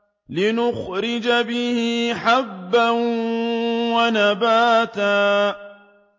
لِّنُخْرِجَ بِهِ حَبًّا وَنَبَاتًا